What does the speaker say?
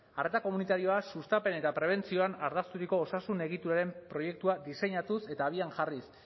arreta komunitarioa sustapen eta prebentzioan ardazturiko osasun egituraren proiektua diseinatuz eta abian jarriz